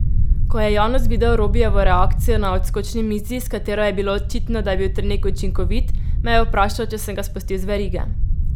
Ko je Janus videl Robijevo reakcijo na odskočni mizi, s katero je bilo očitno, da je bil trening učinkovit, me je vprašal, če sem ga spustil z verige.